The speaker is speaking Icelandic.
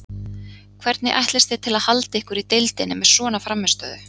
Hvernig ætlist þið til að halda ykkur í deildinni með svona frammistöðu?